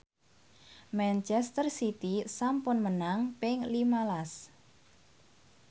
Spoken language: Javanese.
manchester city sampun menang ping lima las